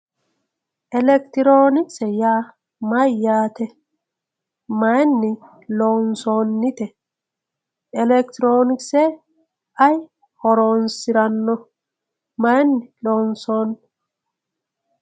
elektiroonikise yaa mayyaate mayiinni lonsonnite elektirokise ayi horonsiranno mayiinni lonsoonni